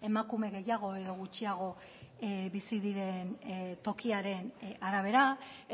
emakume gehiago edo gutxiago bizi diren tokiaren arabera